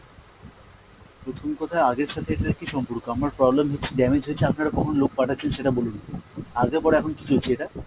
প্রথম কথা আগের সাথে এটার কী সম্পর্ক? আমার problem হচ্ছে damage হয়েছে আপনারা কখন লোক পাঠাচ্ছেন সেটা বলুন, আগে পরে এখন কী চলছে এটা?